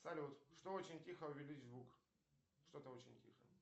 салют что очень тихо увеличь звук что то очень тихо